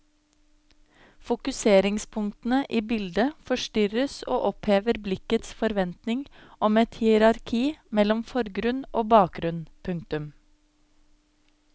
Fokuseringspunktene i bildet forstyrres og opphever blikkets forventning om et hierarki mellom forgrunn og bakgrunn. punktum